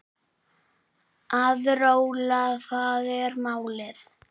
Að róla, það er málið.